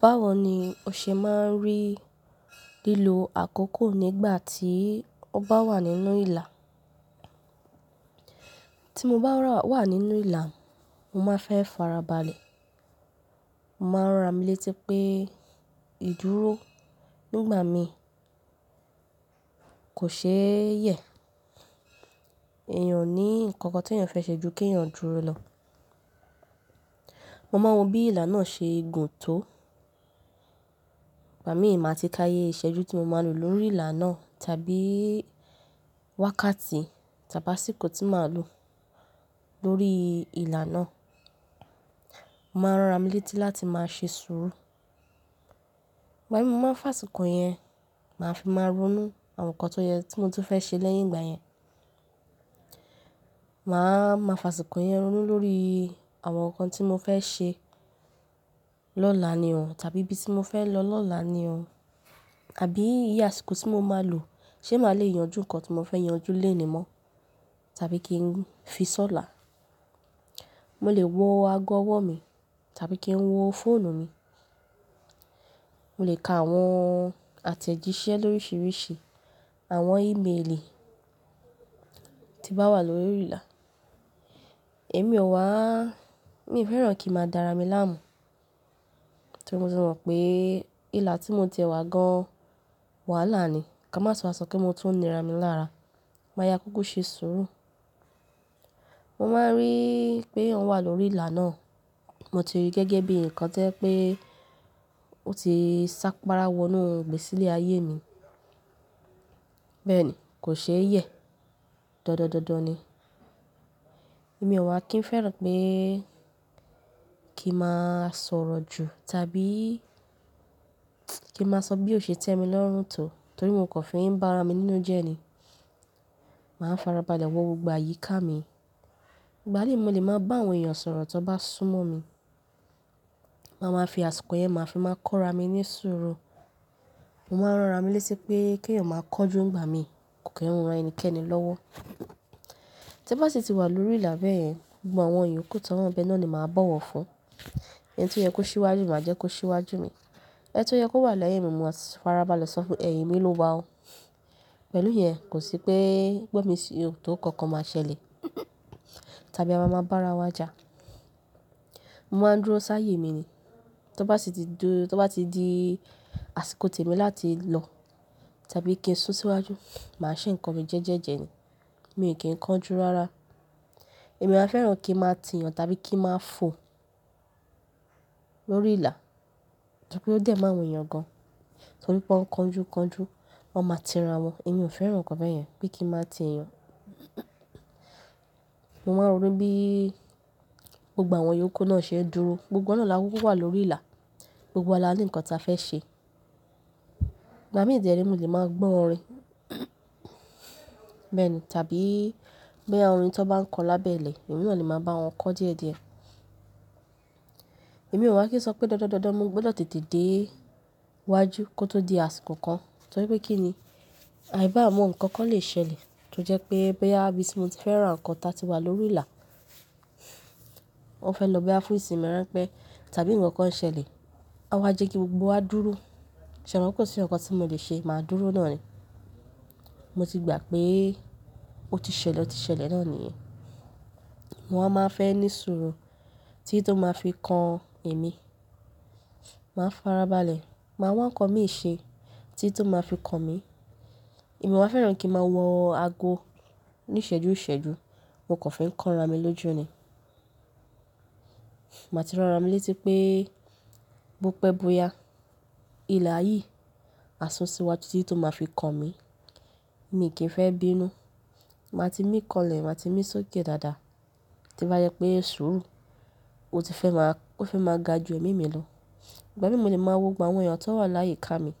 Báwo ni o ṣe máa ń rí lílo àkókò nígbà tí ọ bá wà nínú ìlà? Tí mo bá wà nínú ìlà, mo máa ń fẹ́ farabalẹ̀. Mo máa ń rán ra mi létí pé ìdúró nígbà mi kò ṣe é yẹ̀. Èèyàn ní nǹkan kan tí èèyàn fẹ́ ṣe ju kí èèyàn dúró lọ. Mo máa mọ bí ìlà náà ṣe gùn tó. Ìgbà mí ì máa ti ka iye ìṣẹ́jú tí mo máa lò lórí ìlà náà, tàbí wákàtí tàbí àsìkò tí màá lò lórí ìlà náà. Mo máa ń rá mi létí láti máa ṣe sùúrù. Ìgbà mí mo máa ń fa àsìkò yẹn, màá fi máa ronú àwọn nǹkan tó yẹ tí mo tún fẹ́ ṣe lẹ́yìn ìgbà yẹn. Màá máa fa àsìkò yẹn ronú lórí àwọn nǹkan tí mo fẹ́ ṣe lọ́la ni ọ̀un tàbí ibi tí mo fẹ́ lọ lọ́la ni ọ̀un. Àbí iye àsìkò tí mo máa lò, ṣé màá le yanjú nǹkan tí mo fẹ́ yanjú léèní mọ́, tàbí kí n fi sọ́là. Mo lè wo ago ọwọ́ mi tàbí kí n wo fóònù mi. Mo lè ka àwọn àtẹ̀jíṣẹ́ lóríṣiríṣi, àwọn ímeèlì tí n bá wà lórí ìlà. Èmi ò wá, mi ò fẹ́ràn kí a máa dára mi láàmú. Torí mo ti mọ̀ pé ìlà tí mo ti ẹwà gan wàhálà ni. Ka má tun wa sọ pe mo tun nira mi lára. Màá yá kùkú ṣe sùúrù. Mo máa ń rí pé òun wà lórí ìlà náà, mo ti rí i gẹ́gẹ́ bí nǹkan to jẹ́ pé ó ti sápára wọ inú lgbési sílé ayé mi. Bẹ́ẹ̀ ni, kò ṣe é yẹ̀. Dandan dandan ni. Èmi ò wá kí n fẹ́ràn pé kí n máa sọ̀rọ̀ jù tàbí kí n máa sọ bí ó ṣe tẹ́mi lọ́rùn tó torí mo kò fi ń bá ara mi nínú jẹ ni. Màá farabalẹ̀ wọ gbogbo àyíká mi. Ìgbà míì mo lè máa bá àwọn èèyàn sọ̀rọ̀ tí wọ́n bá súnmọ́ mi. Mo máa ń fi àsìkò yẹn, màá fi máa kọ́ra mi ní sùúrù. Mo máa ń rán ra mi létí pé kí èèyàn máa kọnjú ńgba mi kò kí ń ran ẹnikẹ́ni lọ́wọ́. Tí bá sì ti wà lórí ìlà bẹ́ẹ̀ yẹn, gbogbo àwọn ìyókù tó wà nbẹ náà ni màá báwọ̀ fún. Ẹni tí ó yẹ kó ṣíwájú màá jẹ́ kó ṣíwájú mi. Ẹni tó yẹ kó wà lẹ́yìn mi, máa farabalẹ̀ sọ fún ẹ̀yin mi lówa oo. Pẹ̀lú yẹn, kò sí pé gbon misi o tó kankan máa ṣẹlẹ̀ tàbí a máa máa bá ara wa jà. Mo máa ń dúró sáàyé mi ni. Tó bá sì ti dú-- tó bá ti di àsìkò tèmi láti lọ tàbí kí n sún síwájú, màá ṣe nǹkan mi jẹ́ẹ́jẹ́jẹ́ ni. Mi ò kí ń kánjú rárá. Èmi áa fẹ́ràn kí n máa tì yàn tàbí kí n máa fò lórí ìlà, tàbí pé ó dé máa wù eyàn gan torí pé ó ń kánjú kánjú, wọn máa tira wọn. Èmi ò fẹ́ràn nǹkan bẹ́ẹ̀ yẹn, pé kí n máa tì yàn. Mo máa ń rí bí gbogbo àwọn ìyókù náà ṣe ń dúró. Gbogbo wa náà là kúkú wà lórí ìlà. Gbogbo wa laní nǹkan tí a fẹ́ ṣe. Ìgbà mí de re mo lè máa gbọ́ orin. Bẹ́ẹ̀ ni. Tàbí bí àwọn orin tí wọ́n bá ń kọ lábẹ́ ilẹ̀, èmi na le màá bá wọn kọ díẹ̀díẹ̀. Èmi ò wá kí n ṣopé dandan, dandan mo gbọdọ̀ tètè dé wájú kó tó di àsìkò kan. Torí pé kí ni? Àì bá mo nǹkan kan lè ṣẹlẹ̀. To jẹ́ pé boya ibí tí mo ti fẹ́ran nǹkan ta ti wà lórí ìlà, wọ́n fẹ́ lọ bá fún ìsinmi rán pé tàbí nǹkan kan ṣẹlẹ̀, á wá jẹ́ kí gbogbo wa dúró. Ṣẹ̀ mo kò sí nǹkan tí mo lè ṣe, màá dúró náà ni. Mo ti gbà pé ó ti ṣẹlẹ̀, ó ti ṣẹlẹ̀ náà ni yen. Mo máa wa ń fẹ́ ní sùúrù tí tó máa fi kan èmi. Màá farabalẹ̀, màá wá nǹkan míì ṣe tí to máa fi kan mi. Èmi ò wáa fẹ́ràn kí n máa wọ ago níṣẹ́jú ìṣẹ́jú, mo kò fi ń kọ́nra mi lójú ni. Màá ti ránra mi létí pé bó pẹ́ bó yá, ìlà yìí, a sún síwájú tí tó máa fi kan mi. Mi ò kí ń fẹ́ bínú. Màá ti mí kọlẹ̀, màá ti mí sókè dáadáa. To bá jẹ pé sùúrù, ó ti fẹ́ máa, o fẹ́ máa ga ju èmi mi lọ. Ìgbà míì mo lè máa wo gbogbo àwọn èèyàn tó wà láyi ká mi.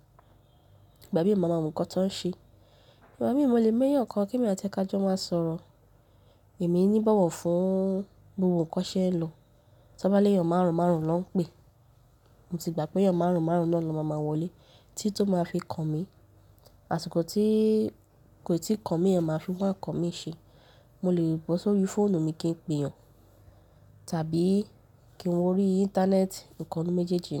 Ìgbà míì mo máa mọ nǹkan tí wọ́n ń ṣe. Ìgbà míì mo lè mọ eyan kan kí èmi àti ẹ ká jọ máa sọ̀rọ̀. Èmi ní bowọ̀ fún bí gbogbo ohun kọ́n ṣe ń lọ. Tó bá léèyàn máàrún máàrún ló ń pè, mo ti gbà pé èèyàn máàrún máàrún náà ló máa máa wọlé tí tó máa fi kan mi. Àsìkò tí kò tíì kọ n mí yen máa fi wáa n kan mí ṣe. Mo lè bọ̀ sórí fóònù mi kí n pèèyàn tàbí kí n wo orí íńtánẹ́ẹ̀tì, nǹkan nu méjèèjì ni.